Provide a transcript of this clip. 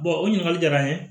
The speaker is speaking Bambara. o ɲininkali jara n ye